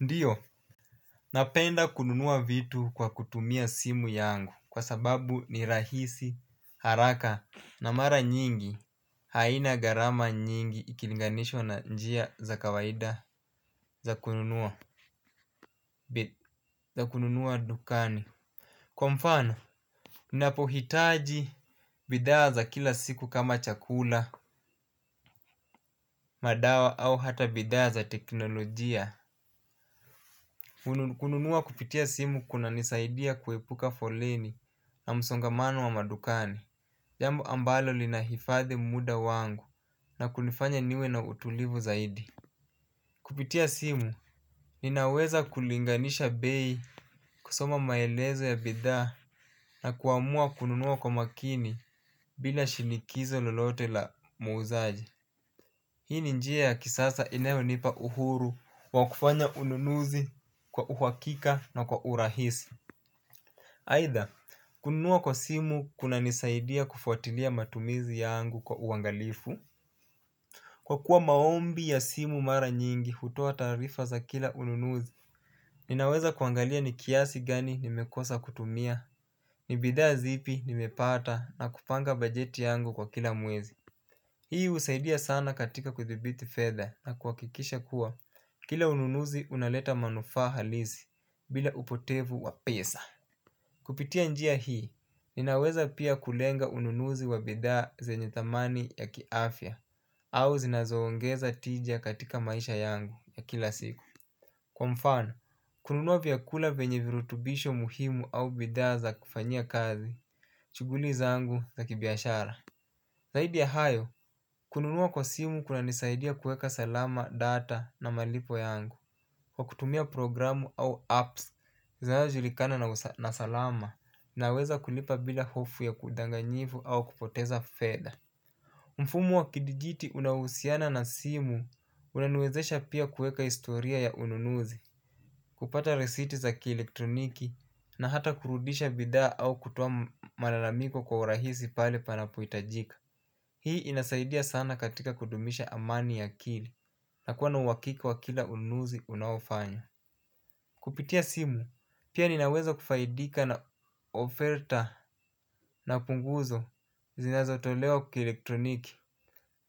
Ndio napenda kununua vitu kwa kutumia simu yangu kwa sababu ni rahisi haraka na mara nyingi haina gharama nyingi ikilinganishwa na njia za kawaida za kununua dukani kwa mfano ninapohitaji bidhaa za kila siku kama chakula, madawa au hata bidhaa za teknolojia. Kununua kupitia simu kunanisaidia kuepuka foleni na msongamano wa madukani. Jambo ambalo linahifadhi muda wangu na kunifanya niwe na utulivu zaidi. Kupitia simu ninaweza kulinganisha bei kusoma maelezo ya bidhaa na kuamua kununua kwa makini bila shinikizo lolote la muuzaji. Hii ni njia ya kisasa inayonipa uhuru wa kufanya ununuzi kwa uhakika na kwa urahisi aidha kununua kwa simu kuna nisaidia kufuatilia matumizi yangu kwa uangalifu kwa kuwa maombi ya simu mara nyingi hutoa tarifa za kila ununuzi. Ninaweza kuangalia ni kiasi gani nimekosa kutumia ni bidhaa zipi nimepata na kupanga bajeti yangu kwa kila mwezi. Hii husaidia sana katika kudhibiti fedha na kuhakikisha kuwa kila ununuzi unaleta manufaa halisi bila upotevu wa pesa. Kupitia njia hii ninaweza pia kulenga ununuzi wa bidhaa zanye thamani ya kiafya au zinazo ongeza tija katika maisha yangu ya kila siku. Kwa mfano kununua vyakula vyenye virutubisho muhimu au bidhaa za kufanyia kazi shuguli zangu za kibiashara. Zaidi ya hayo kununua kwa simu kuna nisaidia kueka salama data na malipo yangu. Kwa kutumia programu au apps zinazo julikana na salama naweza kulipa bila hofu ya kudanganyivu au kupoteza fedha. Mfumo wa kidigiti unaohusiana na simu unaniwezesha pia kueka historia ya ununuzi. Kupata risiti za kielektroniki na hata kurudisha bidhaa au kutoa malalamiko kwa urahisi pale panapo hitajika. Hii inasaidia sana katika kudumisha amani ya akili na kuwa na uhakika wa kila ununuzi unaofanya. Kupitia simu pia ninaweza kufaidika na ofilter na punguzo zinazo tolewa kielektroniki.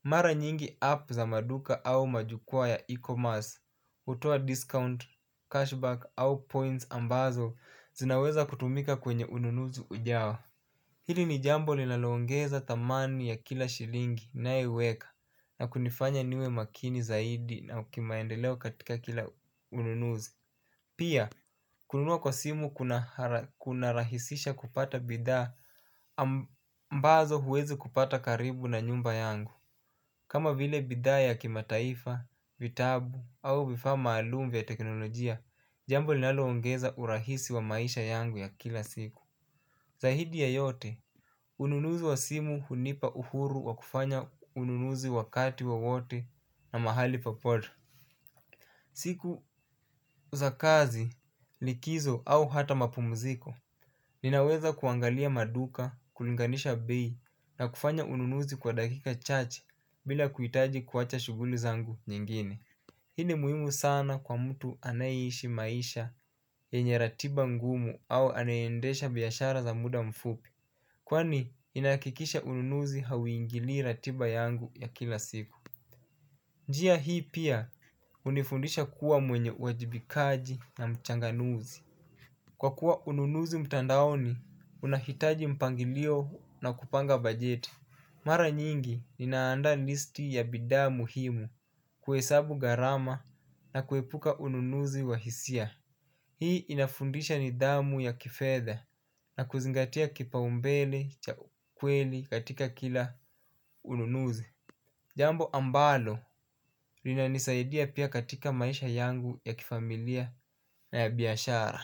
Mara nyingi app za maduka au majuka ya e-commerce hutoa discount cashback au points ambazo zinaweza kutumika kwenye ununuzi ujao. Hili ni jambo linalo ongeza thamani ya kila shilingi ninayoiweka na kunifanya niwe makini zaidi na kimaendeleo katika kila ununuzi. Pia kununua kwa simu kuna rahisisha kupata bidhaa ambazo huwezi kupata karibu na nyumba yangu. Kama vile bidha ya kimataifa vitabu au vifaa maalum vya teknolojia jambo linalo ongeza urahisi wa maisha yangu ya kila siku. Zaidi ya yote ununuzi wa simu hunipa uhuru wa kufanya ununuzi wakati wowote na mahali popote siku za kazi likizo au hata mapumziko. Ninaweza kuangalia maduka kulinganisha bei na kufanya ununuzi kwa dakika chache bila kuhitaji kuacha shughuli zangu nyingine. Hii ni muhimu sana kwa mtu anae ishi maisha yenye ratiba ngumu au anaye endesha biashara za muda mfupi. Kwani ina hakikisha ununuzi hauingilii ratiba yangu ya kila siku. Njia hii pia hunifundisha kuwa mwenye uwajibikaji na mchanganuzi. Kwa kuwa ununuzi mtandaoni unahitaji mpangilio na kupanga bajeti. Mara nyingi nina andaa listi ya bidhaa muhimu kuhesabu gharama na kuepuka ununuzi wa hisia. Hii inafundisha nidhamu ya kifedha na kuzingatia kipaombele cha ukweli katika kila ununuzi. Jambo ambalo linanisaidia pia katika maisha yangu ya kifamilia na ya biashara.